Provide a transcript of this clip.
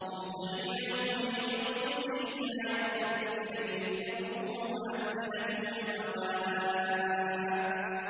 مُهْطِعِينَ مُقْنِعِي رُءُوسِهِمْ لَا يَرْتَدُّ إِلَيْهِمْ طَرْفُهُمْ ۖ وَأَفْئِدَتُهُمْ هَوَاءٌ